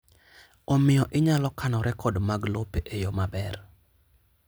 Omiyo inyalo kano rekod mag lope e yo maber.